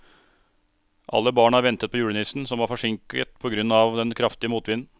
Alle barna ventet på julenissen, som var forsinket på grunn av den kraftige motvinden.